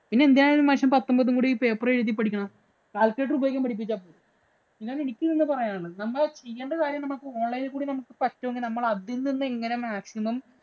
പിന്നെന്തിനാണ് ഈ മനുഷ്യന്‍ പത്തമ്പതും കൂടി ഈ paper ഇല്‍ എഴുതി പഠിക്കുന്നത്. Calcuculator ഉപയോഗിക്കാന്‍ പഠിപ്പിച്ചാല്‍ പോരെ. അതാണ്‌ എനിക്ക് ഇന്ന് പറയാന്‍ ഉള്ളത്. നമ്മള് ചെയ്യണ്ട കാര്യം നമ്മക്ക് online ഇല്‍ കൂടി പറ്റൂങ്കി നമ്മള്‍ അതില്‍ നിന്ന് എങ്ങനെ maximum